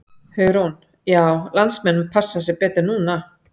Hugrún: Já landsmenn passa sig betur núna?